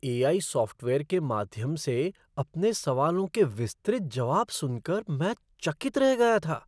AI. Software के माध्यम से अपने सवालों के विस्तृत जवाब सुन कर मैं चकित रह गया था।